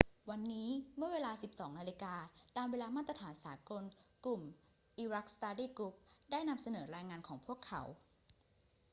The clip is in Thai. วันนี้เมื่อเวลา 12.00 น ตามเวลามาตรฐานสากล กลุ่ม iraq study group ได้นำเสนอรายงานของพวกเขา